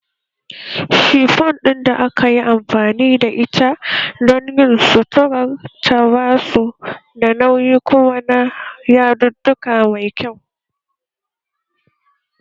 Shifon da aka yi amfani da ita don yin suturar ta ba su da nauyi kuma na yadudduka mai kyau